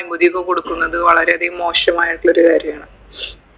അനുമതിയൊക്കെ കൊടുക്കുന്നത് വളരെയധികം മോശമായിട്ടുള്ളൊരു കാര്യാണ്